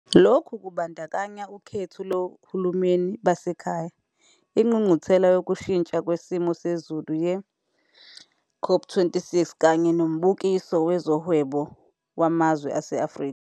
Lokhu kubandakanya ukhetho lohulumeni basekhaya, ingqungquthela yokushintsha kwesimo sezulu ye-COP26 kanye noMbukiso Wezohwebo Wamazwe ase-Afrika.